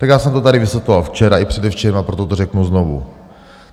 Tak já jsem to tady vysvětloval včera i předevčírem, a proto to řeknu znovu.